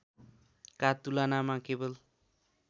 का तुलनामा केवल